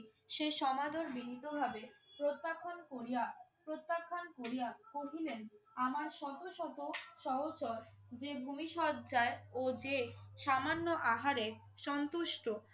সে সমাদর বিনীতভাবে প্রজ্ঞাপন করিয়া~ প্রত্যাখ্যান করিয়া কহিলেন, আমার শত শত সহচর যে ভূমি শয্যায় ও যে সামান্য আহারে সন্তুষ্ট।